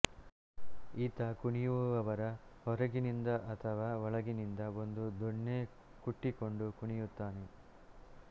ಈತ ಕುಣಿಯುವವರ ಹೊರಗಿನಿಂದ ಅಥವಾ ಒಳಗಿನಿಂದ ಒಂದು ದೊಣ್ಣೆಕುಟ್ಟಿಕೊಂಡು ಕುಣಿಯುತ್ತಾನೆ